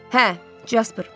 Hə, Casper.